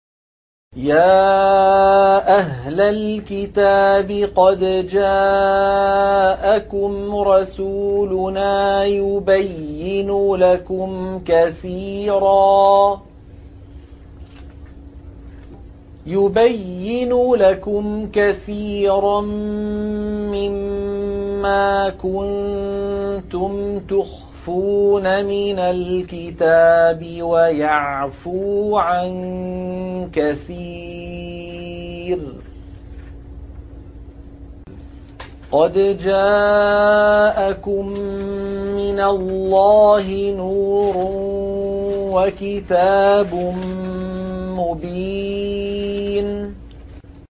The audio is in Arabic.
يَا أَهْلَ الْكِتَابِ قَدْ جَاءَكُمْ رَسُولُنَا يُبَيِّنُ لَكُمْ كَثِيرًا مِّمَّا كُنتُمْ تُخْفُونَ مِنَ الْكِتَابِ وَيَعْفُو عَن كَثِيرٍ ۚ قَدْ جَاءَكُم مِّنَ اللَّهِ نُورٌ وَكِتَابٌ مُّبِينٌ